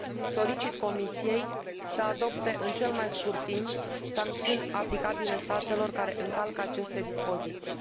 Solicit Comisiei să adopte, în cel mai scurt timp, sancțiuni aplicabile statelor care încalcă aceste dispoziții.